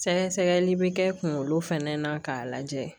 Sɛgɛsɛgɛli bɛ kɛ kunkolo fɛnɛ na k'a lajɛ